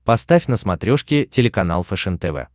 поставь на смотрешке телеканал фэшен тв